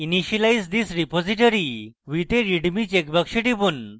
initialize this repository with a readme checkbox টিপুন